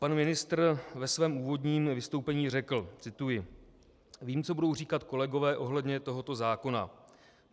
Pan ministr ve svém úvodním vystoupení řekl - cituji: Vím, co budou říkat kolegové ohledně tohoto zákona.